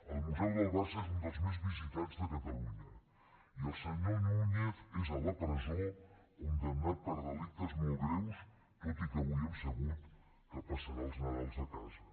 el museu del barça és un dels més visitats de catalunya i el senyor núñez és a la presó condemnat per delictes molt greus tot i que avui hem sabut que passarà el nadal a casa